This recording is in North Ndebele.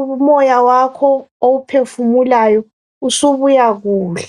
umoya wakho owuphefumulayo usubuya kuhle.